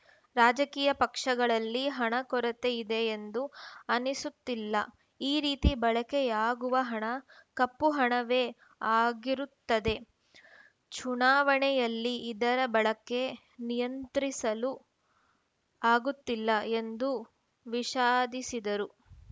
ರಾಜಕೀಯ ಪಕ್ಷಗಳಲ್ಲಿ ಹಣದ ಕೊರತೆ ಇದೆ ಎಂದು ಅನ್ನಿಸುತ್ತಿಲ್ಲ ಈ ರೀತಿ ಬಳಕೆಯಾಗುವ ಹಣ ಕಪ್ಪು ಹಣವೇ ಆಗಿರುತ್ತದೆ ಚುನಾವಣೆಯಲ್ಲಿ ಇದರ ಬಳಕೆ ನಿಯಂತ್ರಿಸಲು ಆಗುತ್ತಿಲ್ಲ ಎಂದು ವಿಷಾದಿಸಿದರು